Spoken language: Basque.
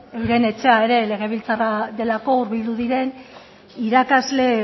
euren etxea ere legebiltzarra delako bildu diren irakasle